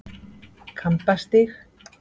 Kambastíg